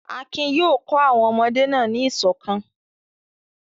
Akin yóò kọ́ àwọn ọmọdé náà ní ìṣọ̀kan.